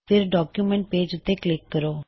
ਫੇਰ document page ਉੱਤੇ click ਕਰੋ